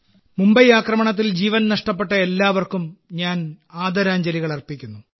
മുംബൈ ആക്രമണത്തിൽ ജീവൻ നഷ്ടപ്പെട്ട എല്ലാവർക്കും ഞാൻ ആദരാഞ്ജലികൾ അർപ്പിക്കുന്നു